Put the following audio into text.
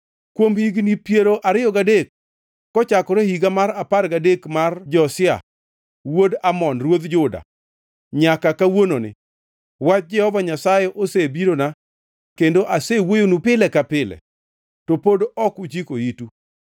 Kuom higni piero ariyo gadek, kochakore e higa mar apar gadek mar Josia wuod Amon ruodh Juda nyaka kawuononi, wach Jehova Nyasaye osebirona kendo asewuoyonu pile ka pile, to pod ok uchiko itu.